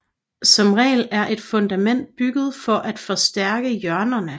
Som regel er et fundament bygget for at forstærke hjørnerne